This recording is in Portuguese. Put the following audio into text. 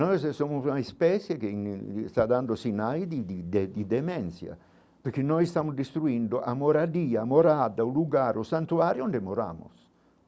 Nós somos uma espécie que está dando sinais de de de demência, porque nós estamos destruindo a moradia, a morada, o lugar, o santuário onde moramos?